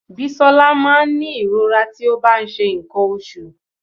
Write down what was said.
Bisola máa ń ní ìrora tí ó bá ń ṣe nǹkan oṣù.